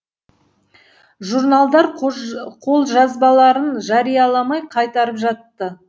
журналдар қолжазбаларын жарияламай қайтарып жатты